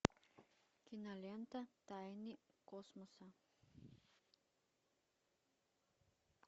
кинолента тайны космоса